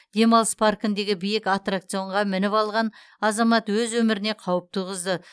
демалыс паркіндегі биік аттракционға мініп алған азамат өз өміріне қауіп туғызды